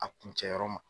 A kun cɛ yɔrɔ ma